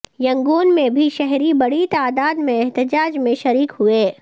Yangon میں بھی شہری بڑی تعداد میں احتجاج میں شریک ہوئے